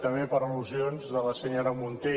també per al·lusions de la senyora munté